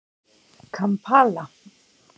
Kampala